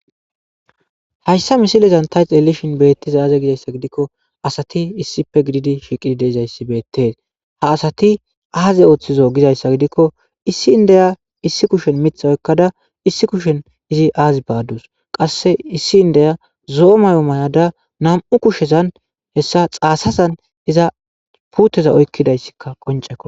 Hayssa misilezan tayx elishin beettiza aaze gizayssa gidikko asati issife gididi shiqidide izayssi beettes ha asati aaze ooththizo gizayssa gidikko issi indeya issi kushen mitha oykkada issi kushen izi aazi baadus qasse issi indeya zo7omayo mayada nam7u kushezan hessa xaasazan iza puuteza oykkidayssikka qonceko.